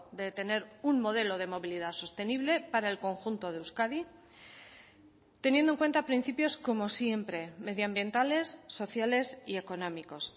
de tener un modelo de movilidad sostenible para el conjunto de euskadi teniendo en cuenta principios como siempre medioambientales sociales y económicos